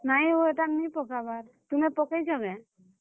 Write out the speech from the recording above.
ନାଇଁ ହୋ ହେଟା ନିଁ ପକାବାର୍ , ତୁମେ ପକେଇଛ କେଁ ?